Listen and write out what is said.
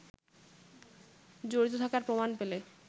জড়িত থাকার প্রমাণ পেলে